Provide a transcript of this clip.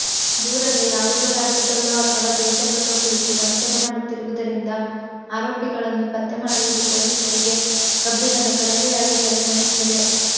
ದೂರದ ಯಾವುದೋ ರಾಜ್ಯದಲ್ಲೋ ಅಥವಾ ದೇಶದಲ್ಲೋ ಕುಳಿತು ವಂಚನೆ ಮಾಡುತ್ತಿರುವುದರಿಂದ ಆರೋಪಿಗಳನ್ನು ಪತ್ತೆ ಮಾಡುವುದು ಪೊಲೀಸರಿಗೆ ಕಬ್ಬಿಣದ ಕಡಲೆಯಾಗಿ ಪರಿಣಮಿಸಿದೆ